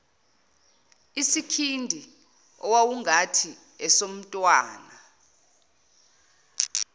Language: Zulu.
isikhindi owawungathi esomntwana